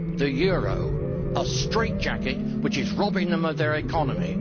The euro a strait jacket which is robbing them of their economy.